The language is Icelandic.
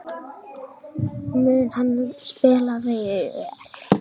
Mun hann spila vel?